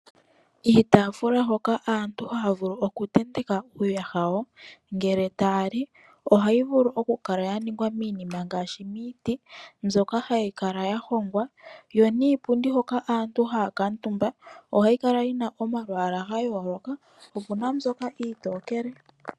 Iitafula hoka aantu ha vulu oku tenteke uuyaha yawo ngele tayali ohayi vulu oku kala ya ningwa miinima ngaashi miiti mbyoka hayi kala ya hongwa yo niipundi hoka aantu haa kuutumba ohayi kala yina omalwaala ga yooloka opuna mbyoka iitokele.